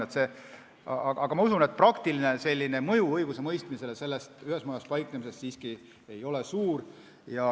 Ma usun, et selle ühes majas paiknemise praktiline mõju õigusemõistmisele ei ole siiski suur.